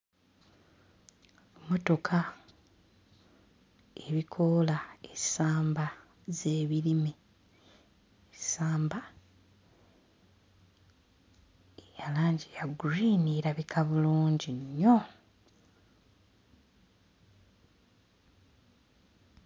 Mmotoka ebikoola essamba z'ebirime ssamba eya langi ya gguliini erabika bulungi nnyo.